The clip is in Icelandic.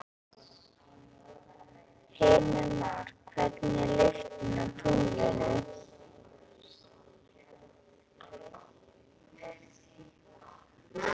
Heimir Már: Hvernig er lyktin á tunglinu?